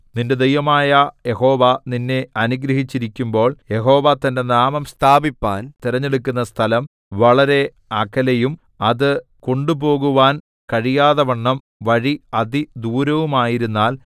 നിന്റെ ദൈവമായ യഹോവ നിന്നെ അനുഗ്രഹിച്ചിരിക്കുമ്പോൾ യഹോവ തന്റെ നാമം സ്ഥാപിപ്പാൻ തിരഞ്ഞെടുക്കുന്ന സ്ഥലം വളരെ അകലെയും അത് കൊണ്ടുപോകുവാൻ കഴിയാത്തവണ്ണം വഴി അതിദൂരവുമായിരുന്നാൽ